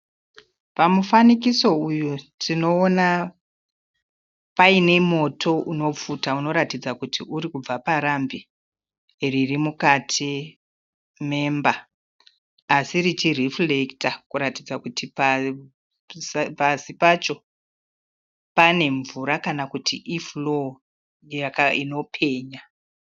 Pamufanikiso uyu tinoona paine moto unopfuta unoratidza kuti urikubva parambi riri mukati memba asi richirhifurekita kuratidza kuti pasi pacho pane mvura kana kuti ifuroo inopenya .